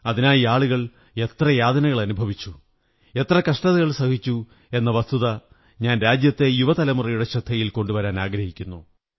അതിനായി ആളുകൾ എത്ര യാതനകളനുഭവിച്ചു എത്ര കഷ്ടതകൾ സഹിച്ചു എന്ന വസ്തുത ഞാൻ രാജ്യത്തെ യുവതലമുറയുടെ ശ്രദ്ധയിൽ കൊണ്ടുവരാനാഗ്രഹിക്കുന്നു